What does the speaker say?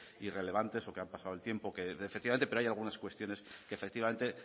irrelevantes o que han pasado el tiempo efectivamente pero hay algunas cuestiones que efectivamente